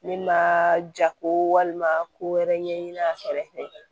Min ma ja ko walima ko wɛrɛ ɲɛɲini a kɛrɛfɛ